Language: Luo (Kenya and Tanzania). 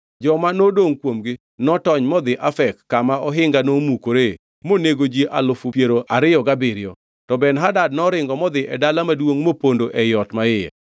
Joma nodongʼ kuomgi notony modhi Afek kama ohinga nomukore monego ji alufu piero ariyo gabiriyo. To Ben-Hadad noringo modhi e dala maduongʼ mopondo ei ot maiye.